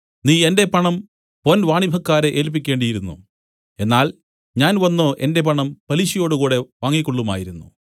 നീ എന്റെ പണം പൊൻവാണിഭക്കാരെ ഏല്പിക്കേണ്ടിയിരുന്നു എന്നാൽ ഞാൻ വന്നു എന്റെ പണം പലിശയോടുകൂടെ വാങ്ങിക്കൊള്ളുമായിരുന്നു